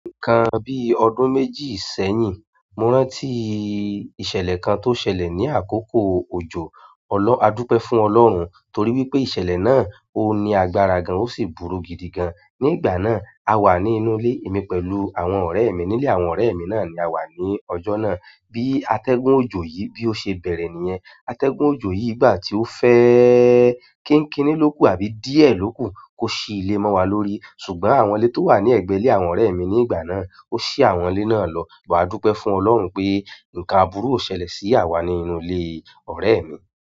Nǹkan bíi ọdún méjì sẹ́yìn, mo rántí ìṣẹ̀lẹ̀ kan tó ṣẹlẹ̀ ní àkókò òjò. Ọlọ, a dúpẹ́ fún Ọlọ́hun torí wípé ìṣẹ̀lẹ̀ náà ó ní agbára gan an ó sì burú gidi gan. Ni ìgbà náà, a wà ní inú ilé emi pẹ̀lú àwọn ọ̀rẹ́ mi nílé àwọn ọ̀rẹ́ mi náà ni a wà ní ọjọ́ náà. Bí atẹ́gùn òjò yìí bí ó ṣe bẹ̀rẹ̀ nìyẹn. Atẹ́gùn òjò yìí ìgbà tí ó fẹ́ kinkíní ló ku àbí díẹ̀ ló ku kó ṣí ilé mọ́ wa lórí. Ṣùgbọ́n àwọn ilé tó wà ní ẹgbẹ́ ilé àwọn ọ̀rẹ́ mi ní ìgbà náà, ó ṣí àwọn ilé náà lọ. But, a dúpẹ́ fún Ọlọ́run pé nǹkan àbúrú ò ṣẹlẹ̀ sí àwa ní inú ilé ọ̀rẹ́ mi.